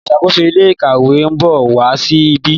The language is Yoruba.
oluṣakoso ilé ìkàwé nbọ wá sí ìbi.